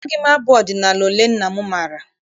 Amaghị m abụ ọdịnala ole nna m maara.